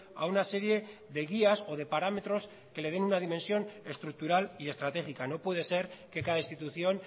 a una serie de guías o de parámetros que le den una dimensión estructural y estratégica no puede ser que cada institución